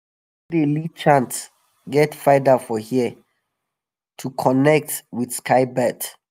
the person wey dey lead chant get feather for hair to connect with sky bird.